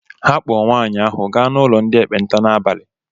Ha kpọọ nwaanyị ahụ gaa n'ụlọ ndị ekpenta n'abalị